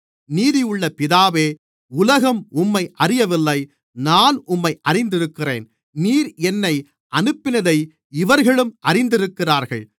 நீதியுள்ள பிதாவே உலகம் உம்மை அறியவில்லை நான் உம்மை அறிந்திருக்கிறேன் நீர் என்னை அனுப்பினதை இவர்களும் அறிந்திருக்கிறார்கள்